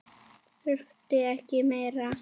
Þurfti ekki meira.